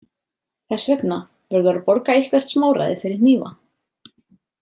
Þess vegna verður að borga eitthvert smáræði fyrir hnífa.